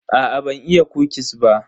Aa ban iya kukis ba.